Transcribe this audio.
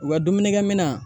U ka dumunikɛmina